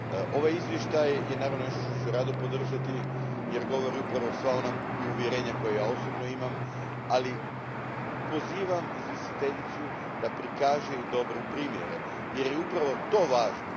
Ovaj izvještaj je, naravno, nešto što ću rado podržati jer govori upravo sva ona uvjerenja koja ja osobno imam, ali pozivam izvjestiteljicu da pokaže i dobre primjere jer je upravo to važno.